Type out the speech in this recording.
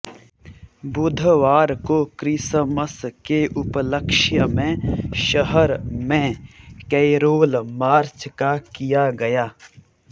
बुधवार को क्रिसमस के उपलक्ष्य में शहर में कैरोल मार्च का किया गया